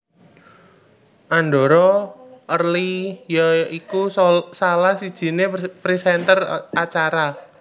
Andhara early ya iku salah sijiné presenter acara